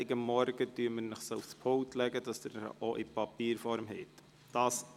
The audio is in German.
Am Montagmorgen werden wir sie Ihnen aufs Pult legen, damit sie Ihnen auch in Papierform vorliegen.